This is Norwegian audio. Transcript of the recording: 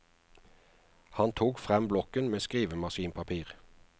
Han tok frem blokken med skrivemaskinpapir.